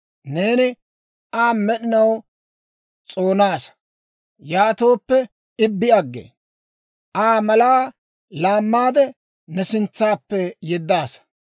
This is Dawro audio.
Neeni Aa med'inaw s'oonaasa; yaatooppe I bi aggee. Aa malaa laammaadde, ne sintsappe yeddaasa.